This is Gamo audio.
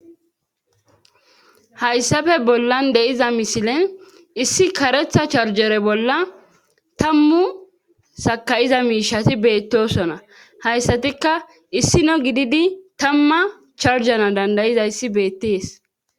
hayssafe bollan de7iza misilen issi karetha charjere bolla tammu sakayiza miishati beettosona hayssatikka issino gididi tamma charjana dandayizayssi beettees